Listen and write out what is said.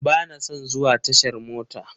Bana son zuwa tashar mota.